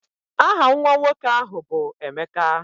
Aha nwa nwoke ahụ bụ Emeka